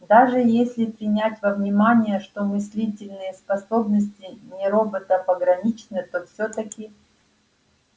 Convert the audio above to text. даже если принять во внимание что мыслительные способности нероботов ограничены то всё-таки